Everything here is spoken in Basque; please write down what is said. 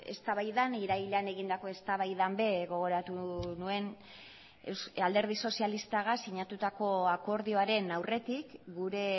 eztabaidan irailean egindako eztabaidan ere gogoratu nuen alderdi sozialistagaz sinatutako akordioaren aurretik gure